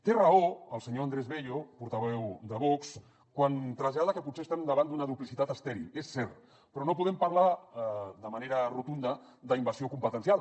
té raó el senyor andrés bello portaveu de vox quan trasllada que potser estem davant d’una duplicitat estèril és cert però no podem parlar de manera rotunda d’invasió competencial